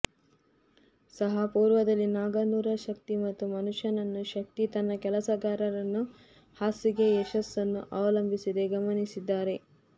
ಸಹ ಪೂರ್ವದಲ್ಲಿ ನಾಗನೂರ ಶಕ್ತಿ ಮತ್ತು ಮನುಷ್ಯನನ್ನು ಶಕ್ತಿ ತನ್ನ ಕೆಲಸಗಾರರನ್ನು ಹಾಸಿಗೆ ಯಶಸ್ಸನ್ನು ಅವಲಂಬಿಸಿದೆ ಗಮನಿಸಿದ್ದಾರೆ